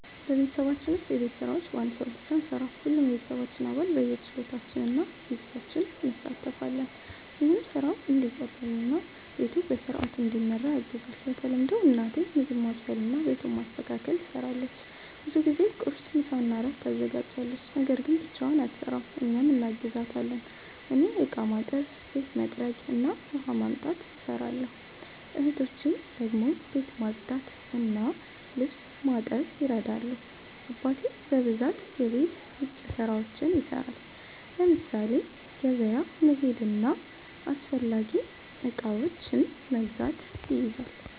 በቤተሰባችን ውስጥ የቤት ስራዎች በአንድ ሰው ብቻ አንሠራም። ሁሉም የቤተሰባችን አባል በየችሎታችን እና በጊዜያችን እንሣተፋለን። ይህም ስራው እንዲቀላቀል እና ቤቱ በሥርዓት እንዲመራ ያግዛል። በተለምዶ እናቴ ምግብ ማብሰልና ቤቱን ማስተካከል ትሰራለች። ብዙ ጊዜ ቁርስ፣ ምሳና እራት ታዘጋጃለች። ነገር ግን ብቻዋን አትሰራም፤ እኛም እናግዛታለን። እኔ እቃ ማጠብ፣ ቤት መጥረግ እና ውሃ ማምጣት እሰራለሁ። እህቶቼ ደግሞ ቤት ማጽዳትና ልብስ ማጠብ ይረዳሉ። አባቴ በብዛት የቤት ውጭ ስራዎችን ይሰራል፤ ለምሳሌ ገበያ መሄድና አስፈላጊ እቃዎችን መግዛት ይይዛል።